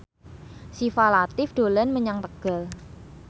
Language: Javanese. Syifa Latief dolan menyang Tegal